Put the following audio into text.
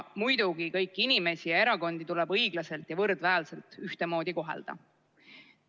Muidugi kõiki inimesi ja erakondi tuleb õiglaselt ja võrdväärselt, ühtemoodi kohelda.